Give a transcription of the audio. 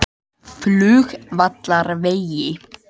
Flugvallarvegi